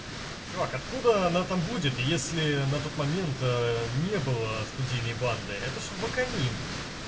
чувак откуда она там будет если на тот момент не было студийной банды это же ваканим